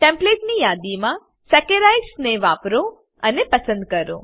ટેમ્પ્લેટની યાદીમાંથી સેકરાઇડ્સ ને વાપરો અને પસંદ કરો